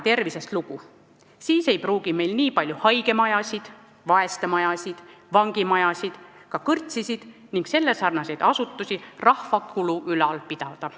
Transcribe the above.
Ei siis pruugi meil niipalju haigemajasid, vaestemajasid, vangimajasid, ka kõrtsisid ning sellesarnaseid asutusi rahva kulul ülal pidada.